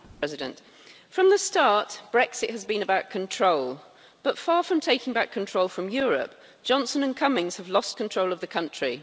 Madam President, from the start, Brexit has been about control, but far from taking back control from Europe, Johnson and Cummings have lost control of the country.